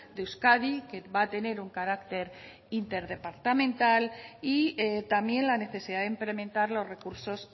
de euskadi que va a tener un carácter interdepartamental y también la necesidad de implementar los recursos